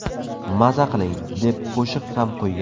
Maza qiling!” deb qo‘shib ham qo‘ygan.